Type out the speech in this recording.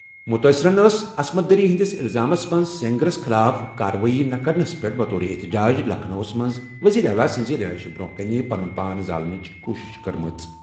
مُتٲثِریٖنَن ٲس عصمت دری ہِنٛدِس اِلزامَس منٛز سینگرَس خٕلاف غٲر کارروٲیی خٕلاف احتِجاجس منٛز لکھنؤَس منٛز وزیر اعلیٰ سٕنٛزِ رِہٲیشہِ برٛونٛہہ کنہِ پنُن پان ؤچھنٕچ کوٗشِش کٔرمٕژ۔